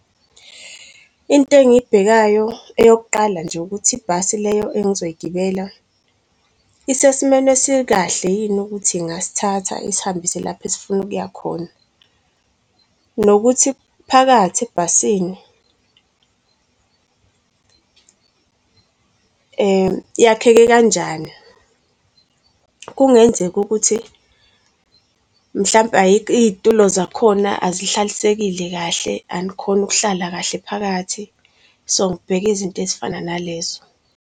Into engiyibhekayo eyokuqala nje ukuthi ibhasi leyo engizoyigibela isesimeni esikahle yini ukuthi ingasithatha isihambise lapha esifuna ukuya khona, nokuthi phakathi ebhasini iyakheke kanjani. Kungenzeka ukuthi mhlampe iy'tulo zakhona azihlalisekile kahle, anikhoni ukuhlala kahle phakathi, so ngibheka izinto ezifana na lezo.